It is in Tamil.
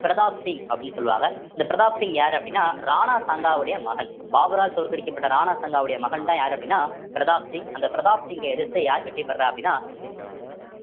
பிரதாப் சிங் அப்படின்னு சொல்லுவாங்க இந்த பிரதாப் சிங் யாரு அப்படின்னா ராணா சாங்காவுடைய மகன் பாபரால் தோற்கடிக்கப்பட்ட ராணா சங்காவுடைய மகன்தான் யாரு அப்படின்னா பிரதாப் சிங் அந்த பிரதாப் சிங்கை எதிர்த்து யார் வெற்றி பெறுறா அப்படின்னா